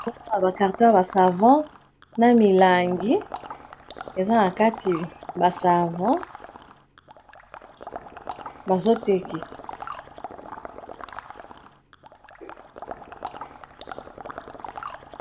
bazokona ba carton yaba savon na milangi eza na kati ba Savon bazotekisa